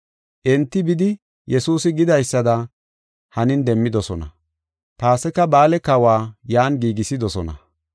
Enti bidi Yesuusi gidaysada hanin demmidosona. Paasika ba7aale kahuwa yan giigisidosona.